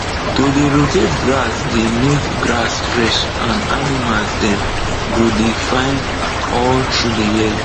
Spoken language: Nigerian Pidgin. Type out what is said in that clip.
to dey rotate grass dey make grass fresh and animal dem go dey fine all through the year